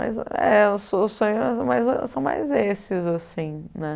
Mas é os os sonhos são mais esses né.